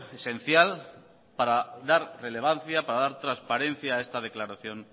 esencial para dar relevancia para dar transparencia a esta declaración